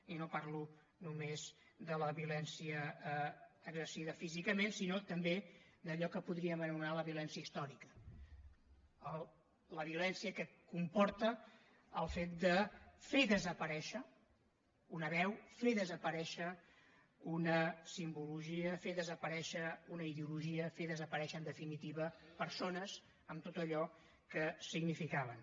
i no parlo només de la violència exercida físicament sinó també d’allò que podríem anomenar la violència històrica la violència que comporta el fet de fer desaparèixer una veu fer desaparèixer una simbologia fer desaparèixer una ideologia fer desaparèixer en definitiva persones amb tot allò que significaven